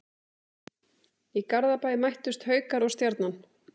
Í Garðabæ mættust Haukar og Stjarnan.